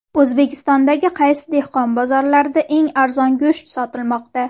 O‘zbekistondagi qaysi dehqon bozorlarida eng arzon go‘sht sotilmoqda?.